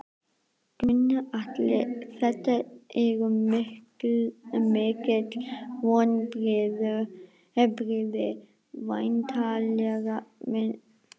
Gunnar Atli: Þetta eru mikil vonbrigði væntanlega?